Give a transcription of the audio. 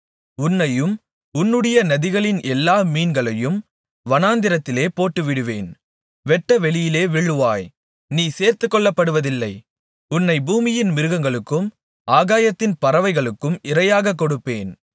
உன்னையும் உன்னுடைய நதிகளின் எல்லா மீன்களையும் வனாந்திரத்திலே போட்டுவிடுவேன் வெட்டவெளியிலே விழுவாய் நீ சேர்த்துக்கொள்ளப்படுவதில்லை உன்னை பூமியின் மிருகங்களுக்கும் ஆகாயத்தின் பறவைகளுக்கும் இரையாகக் கொடுப்பேன்